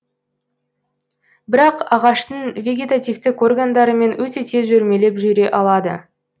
бірақ ағаштың вегетативтік органдарымен өте тез өрмелеп жүре алады